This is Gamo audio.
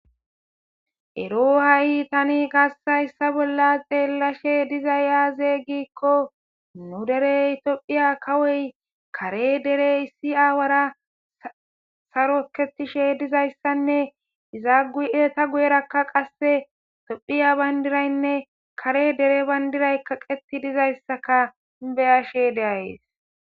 ero ha7i tani kassayssa bolla xeelashe dizay yaaze giikko nu derey tophiya kawoy kare dere issi aawara saro ketishe dizayssanne iza ueta guyerakka qasse tophiya bayndiraynne kare dere bayndiraykaqeti dizayssaka beyashe deayes